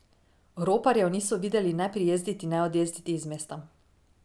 Roparjev niso videli ne prijezditi ne odjezditi iz mesta.